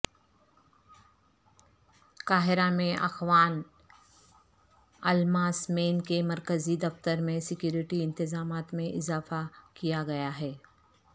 قاہرہ میں اخوان الملسمین کے مرکزی دفتر میں سکیورٹی انتظامات میں اضافہ کیا گیا ہے